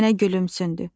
Nənə gülümsündü.